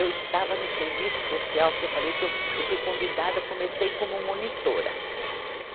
Eu estava no Serviço Social, que eu falei que eu, eu fui convidada, comecei como monitora. Sim